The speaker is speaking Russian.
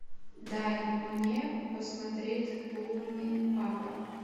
дай мне посмотреть лунный папа